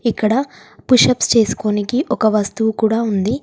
ఇక్కడ పుషప్స్ చేసుకొనికి ఒక వస్తువు కూడా ఉంది.